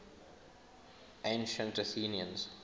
ancient athenians